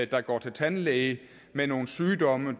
der går til tandlæge med nogle sygdomme